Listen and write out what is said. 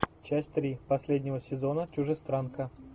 часть три последнего сезона чужестранка